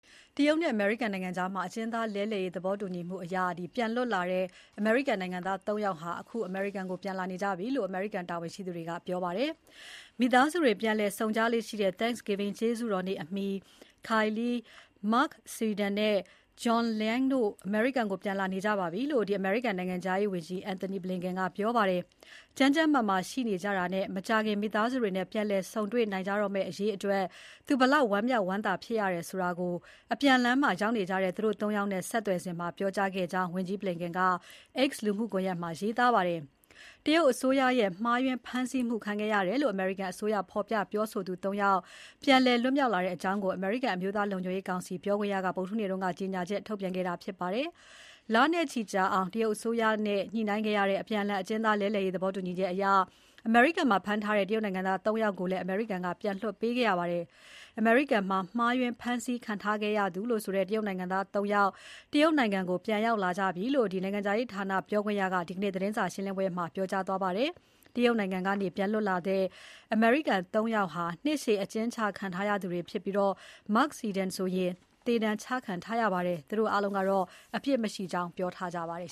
တရုတ်နဲ့အမေရိကန်ကြား အကျဉ်းသားလဲလှယ်ရေး သဘောတူညီမှုနဲ့ တရုတ်ကနေ ပြန်လည်လွတ်မြောက်လာတဲ့ အမေရိကန်နိုင်ငံသား ၃ ယောက် အိမ်ပြန်လာနေကြပြီလို့ အမေရိကန်တာဝန်ရှိသူတွေက ပြောပါတယ်။ မိသားစုတွေ ပြန်လည်ဆုံကြလေ့ရှိတဲ့ Thanksgiving ကျေးဇူးတော်နေ့အမီ Kai Li, Mark Swidan နဲ့ John Leung တို့ အမေရိကန်ကို ပြန်လာနေကြပါပြီလို့ အမေရိကန်နိုင်ငံခြားရေးဝန်ကြီး Antony Blinken ကပြောပါတယ်။ ကျန်းကျန်းမာမာရှိနေကြတာနဲ့ မကြာခင် မိသားစုတွေနဲ့ ပြန်လည်ဆုံတွေ့ နိုင်ကြတော့မယ့်အရေးအတွက် သူဘယ်လောက် ဝမ်းမြောက်ဝမ်းသာဖြစ်ရတယ်လို့ အပြန်လမ်းမှာ ရောက်နေကြတဲ့ သူတို့ ၃ ယောက်နဲ့ ဆက်သွယ်စဉ်မှာ ပြောခဲ့ကြောင်း ဝန်ကြီးBlinken က X လူမှုကွန်ရက်ပေါ်မှာ ရေးသားခဲ့ပါတယ်။ တရုတ်အစိုးရရဲ့ မှားယွင်းဖမ်းဆီးမှု ခံခဲ့ရတယ်လို့ အမေရိကန်အစိုးရ ဖော်ပြပြောဆိုသူ ၃ ယောက် ပြန်လည်လွတ်မြောက်လာတဲ့အကြောင်းကို အမေရိကန်အမျိုးသားလုံခြုံရေးကောင်စီ ပြောခွင့်ရက ဗုဒ္ဓဟူးနေ့က ကြေညာချက်ထုတ်ပြန်ခဲ့တာဖြစ်ပါတယ်။ လနဲ့ချီကြာအောင် တရုတ်အစိုးရနဲ့ ညှိနှိုင်းခဲ့ရတဲ့ အကျဉ်းသား အပြန်အလှန်လဲလှယ်ရေးသဘောတူညီချက်အရ အမေရိကန်မှာ ဖမ်းထားတဲ့ တရုတ်နိုင်ငံသား ၃ ယောက်ကိုလည်း အမေရိကန်က ပြန်လွှတ်ပေးခဲ့ရပါတယ်။ အမေရိကန်မှာ မှားယွင်းဖမ်းဆီးခံထားရသူ တရုတ်နိုင်ငံသား ၃ ယောက် တရုတ်နိုင်ငံကို ပြန်ရောက် လာကြပြီလို့ နိုင်ငံခြားရေးဌာန ပြောခွင့်ရက ဒီနေ့သတင်းစာရှင်းပွဲမှာ ပြောကြားသွားခဲ့ပါတယ်။ တရုတ်နိုင်ငံကနေ ပြန်လွတ်လာတဲ့ အမေရိကန် ၃ ယောက်ဟာ နှစ်ရှည်အကျဉ်းချခံထားရသူတွေ ဖြစ်ပြီး Mark Swidan ဆိုရင် သေဒဏ်ချခံထားရပါတယ်။ သူတို့အားလုံးက အပြစ်မရှိကြောင်း ပြောထားကြပါတယ်